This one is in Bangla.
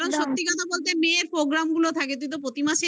কারণ সত্যি কথা বলতে মেয়ের programme গুলো থাকে তুই তো প্রতি মাসেই